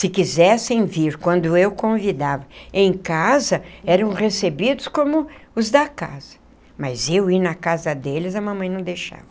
Se quisessem vir, quando eu convidava em casa, eram recebidos como os da casa, mas eu ir na casa deles, a mamãe não deixava.